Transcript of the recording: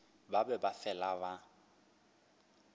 ba be ba fele ba